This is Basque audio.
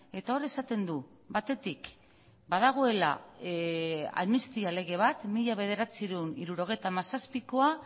eta hor esaten du batetik badagoela amnistia lege bat mila bederatziehun eta hirurogeita hamazazpikoa